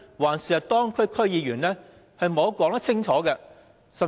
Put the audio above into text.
還是當區區議員的支持？